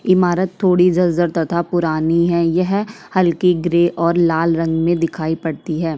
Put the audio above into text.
ईमारत थोड़ी जर जर तथा पुरानी है यह हल्की ग्रे और लाल रंग में दिखाई पड़ती है।